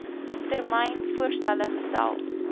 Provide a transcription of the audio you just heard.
termyn voorstelle gestel